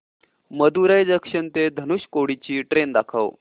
Madurai junction ते धनुषकोडी ची train दाखव